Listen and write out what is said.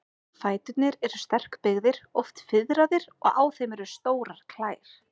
Fæturnir eru sterkbyggðir, oft fiðraðir, og á þeim eru stórar klær.